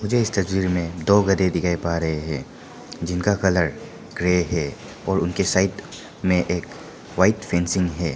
मुझे इस तस्वीर में दो गधे दिखाई पा रहे है जिनका कलर ग्रे है और उनके साइड में एक व्हाइट फेंसिंग है।